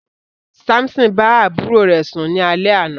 Samson bá àbúrò rẹ̀ sún ni alẹ àna.